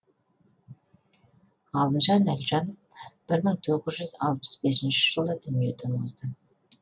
ғалымжан әлжанов бір мың тоғыз жүз алпыс бесінші жылы дүниеден озды